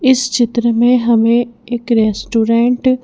इस चित्र में हमें एक रेस्टोरेंट --